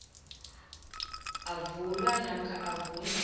avulwa namkha avunywe